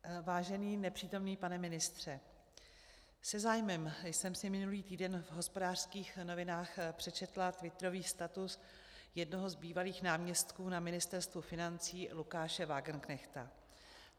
Vážený nepřítomný pane ministře, se zájmem jsem si minulý týden v Hospodářských novinách přečetla twitterový status jednoho z bývalých náměstků na Ministerstvu financí Lukáše Wagenknechta.